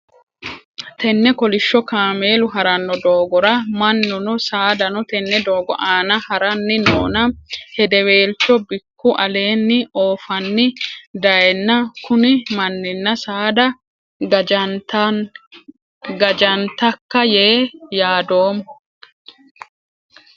Tenne kolisho kaameelu harano doogora mannuno saadano tenne doogo aanna haranni noonna hedeweelcho biku aleenni oofanni dayeenna kunni manninna saada gajantaka yee yaadoomo.